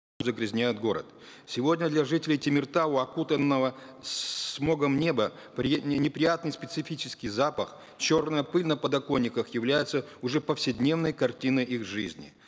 загрязнет город сегодня для жителей темиртау окутанного смогом небо неприятный специфический запах черная пыль на подоконниках является уже повседневной картиной их жизни